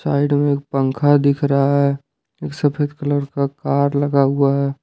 Side में एक पंखा दिख रहा है एक सफेद कलर का कार लगा हुआ है।